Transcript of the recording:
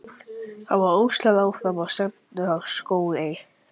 Það var öslað áfram og stefnt á Skógey.